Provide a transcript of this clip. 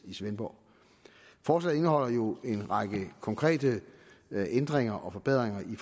i svendborg forslaget indeholder jo en række konkrete ændringer og forbedringer i